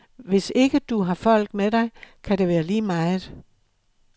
Hvis ikke du har folk med dig, kan det være lige meget.